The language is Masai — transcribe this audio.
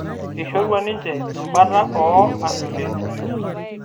Eishorua ninhe embata oo ambiukensi